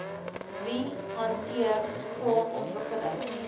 wie hanteer grondontwikkeling